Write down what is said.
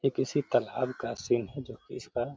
ये किसी तालाब का सीन है जो की इसका --